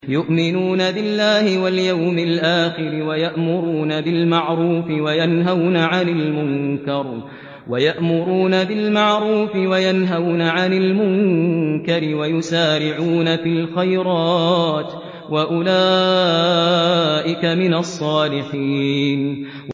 يُؤْمِنُونَ بِاللَّهِ وَالْيَوْمِ الْآخِرِ وَيَأْمُرُونَ بِالْمَعْرُوفِ وَيَنْهَوْنَ عَنِ الْمُنكَرِ وَيُسَارِعُونَ فِي الْخَيْرَاتِ وَأُولَٰئِكَ مِنَ الصَّالِحِينَ